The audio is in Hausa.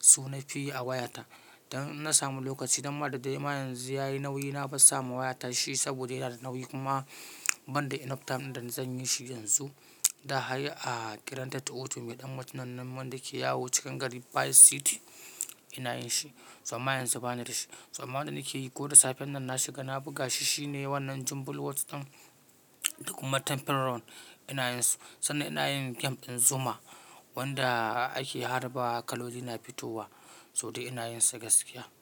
Su nafi yi a wayata. Dan inna samu lokaci dan ma da dai ma yanzu yayi nauyi na bar sama wayata shi saboda yana da nauyi kuma ban da enough time din da zan yi shi yanzu. Da hay a granted auto mai ɗan mutumin nan wanda ke yawo cikin gari vice city. Ina yin shi. To amma yanzu bani da shi. To amma wanda nake yi ko da safen nan na shiga na buga shi shine wannan Jumble Words ɗin da kuma temple run ina yin su. Sannan ina yin game din Zuma wanda ake harba kaloli na fitowa. To dai ina yin sa gaskiya.